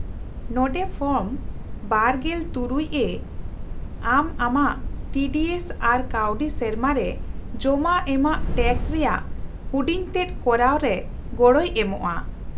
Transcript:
-ᱱᱚᱸᱰᱮ ᱯᱷᱚᱨᱢ ᱒᱖ᱮ ᱟᱢ ᱟᱢᱟᱜ ᱴᱤ ᱰᱤ ᱮᱥ ᱟᱨ ᱠᱟᱹᱣᱰᱤ ᱥᱮᱨᱢᱟ ᱨᱮ ᱡᱚᱢᱟ ᱮᱢᱟᱜ ᱴᱮᱠᱥ ᱨᱮᱭᱟᱜ ᱦᱩᱰᱤᱧᱛᱮᱫ ᱠᱚᱨᱟᱣ ᱨᱮ ᱜᱚᱲᱚᱭ ᱮᱢᱚᱜᱼᱟ ᱾